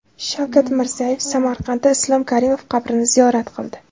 Shavkat Mirziyoyev Samarqandda Islom Karimov qabrini ziyorat qildi .